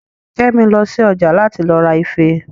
Kẹ́mi lọ sí ọjà láti lọ ra ife